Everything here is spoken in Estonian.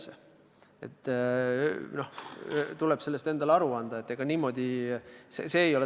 Sellest tuleb endale aru anda.